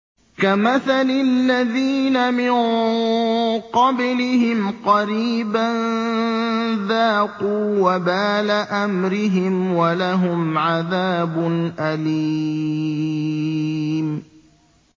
كَمَثَلِ الَّذِينَ مِن قَبْلِهِمْ قَرِيبًا ۖ ذَاقُوا وَبَالَ أَمْرِهِمْ وَلَهُمْ عَذَابٌ أَلِيمٌ